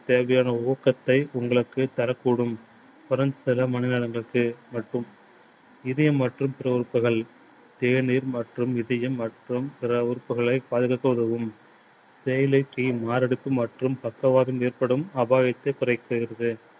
இதயம் மற்றும் பிற உறுப்புகள் தேநீர் மற்றும் இதயம் மற்றும் பிற உறுப்புகளை பாதுகாக்க உதவும். தேயிலை tea மாரடைப்பு மற்றும் பக்கவாதம் ஏற்படும் அபாயத்தைக் குறைக்கிறது.